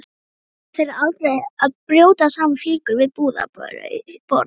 Stelpa á þeirra aldri að brjóta saman flíkur við búðarborð.